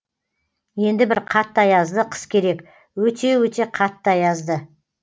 енді бір қатты аязды қыс керек өте өте қатты аязды